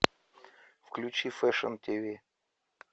включи фэшн ти ви